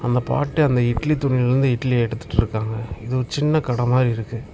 அந்த பாட்டு அந்த இட்லி துணி வந்து இட்லி எடுத்துட்டு இருக்காங்க இது ஒரு சின்ன கட மாதிரி இருக்கு.